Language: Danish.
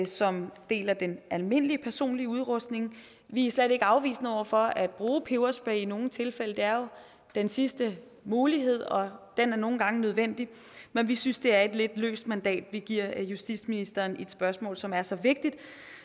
som del af den almindelige personlige udrustning vi er slet ikke afvisende over for at bruge peberspray i nogle tilfælde det er jo den sidste mulighed og den er nogle gange nødvendig men vi synes det er et lidt løst mandat vi giver justitsministeren i et spørgsmål som er så vigtigt